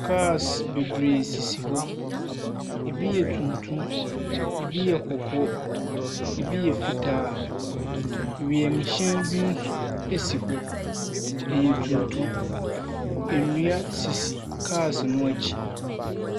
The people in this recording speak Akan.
Cars bebree sisi hɔ. Ebi yɛ tuntum, ebi yɛ kɔkɔɔ, ebi yɛ fitaa. Wiemhyɛn bi nso si hɔ. Ɛyɛ tuntum. Nnua sisi cars no akyi.